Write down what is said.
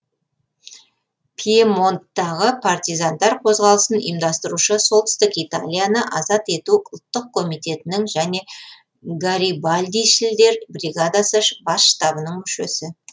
пьемонттағы партизандар қозғалысын ұйымдастырушы солтүстік италияны азат ету ұлттық комитетінің және гарибальдишілдер бригадасы бас штабының мүшесі